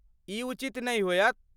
ई उचित नहि होयत।